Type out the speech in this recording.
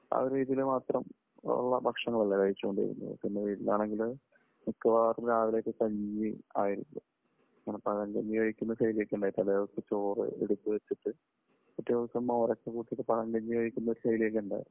ആ ഒരു രീതിയിൽ മാത്രം ഉള്ള ഭക്ഷണങ്ങൾ അല്ലേ കഴിച്ചുകൊണ്ടിരുന്നത്? പിന്നെ വീട്ടിലാണെങ്കിൽ മിക്കവാറും രാവിലെ ഒക്കെ കഞ്ഞി ആയിരിക്കും. നമ്മൾ പഴങ്കഞ്ഞി കഴിക്കുന്ന ശൈലി ഒക്കെ ഉണ്ടായിരുന്നു. തലേ ദിവസത്തെ ചോറ് എടുത്തു വെച്ചിട്ട് പിറ്റേ ദിവസം മോര് ഒക്കെ കൂട്ടിയിട്ട് പഴങ്കഞ്ഞി കഴിക്കുന്ന ഒരു ശൈലി ഒക്കെ ഉണ്ടായിരുന്നു.